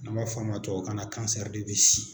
N'an b'a f'a ma tubabukan na